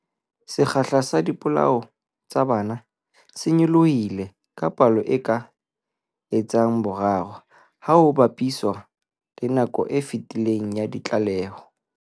Sekgahla sa dipolao tsa bana se nyolohile ka palo e ka etsang boraro ha ho ba piswa le nakong e fetileng ya ditlaleho.